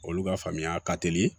Olu ka faamuya ka teli